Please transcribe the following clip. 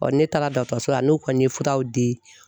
ne taara dɔtɔrɔso la n'u kɔni ye furaw di